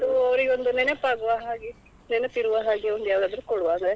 Gift ಅವರಿಗೆ ಒಂದು ನೆನಪಾಗುವ ಹಾಗೆ ನೆನೆಪಿರುವ ಹಾಗೆ ಒಂದು ಯಾವುದಾದ್ರು ಕೊಡುವ ಅಂದ್ರೆ